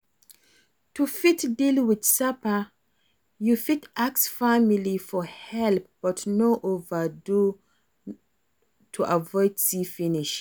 To fit deal with sapa, you fit ask family for help but no overdo am to avoid see finish